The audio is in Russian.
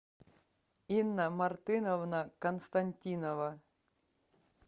инна мартыновна константинова